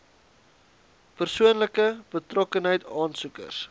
persoonlike betrokkenheid aansoekers